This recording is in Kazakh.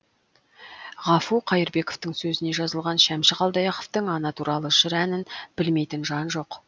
ғафу қайырбековтің сөзіне жазылған шәмші қалдаяқовтың ана туралы жыр әнін білмейтін жан жоқ